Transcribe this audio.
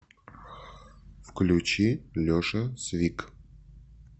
включи леша свик